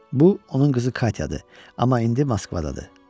Bu onun qızı Katyadır, amma indi Moskvadadır.